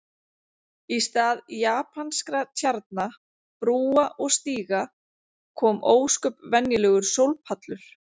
Í stað japanskra tjarna, brúa og stíga kom ósköp venjulegur sólpallur.